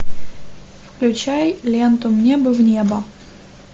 включай ленту мне бы в небо